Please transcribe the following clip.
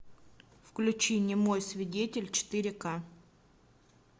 включи немой свидетель четыре к